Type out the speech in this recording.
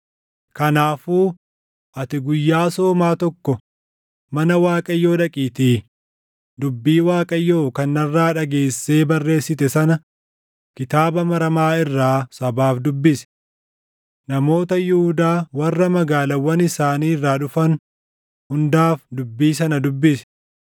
Kanaafuu ati guyyaa soomaa tokko mana Waaqayyoo dhaqiitii dubbii Waaqayyoo kan narraa dhageessee barreessite sana kitaaba maramaa irraa sabaaf dubbisi. Namoota Yihuudaa warra magaalaawwan isaanii irraa dhufan hundaaf dubbii sana dubbisi.